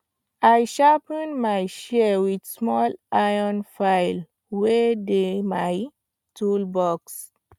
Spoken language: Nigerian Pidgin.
i sharpen my shears with small iron file wey dey my toolbox